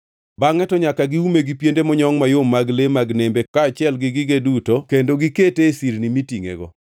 Bangʼe to nyaka giume gi piende monyongʼ mayom mag le mag nembe kaachiel gi gige duto kendo gikete e sirni mitingʼego.